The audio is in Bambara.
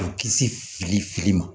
U kisi fili fili ma